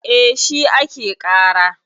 E, shi ake ƙara.